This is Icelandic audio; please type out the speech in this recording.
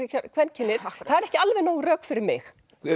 kvenkynið það er ekki alveg nóg rök fyrir mig